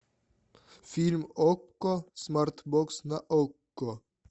фильм окко смарт бокс на окко